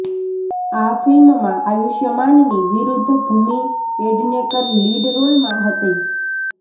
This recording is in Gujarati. આ ફિલ્મમાં આયુષ્માનની વિરુદ્ધ ભૂમિ પેડનેકર લીડ રોલમાં હતી